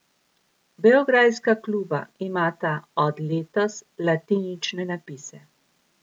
Beograjska kluba imata od letos latinične napise.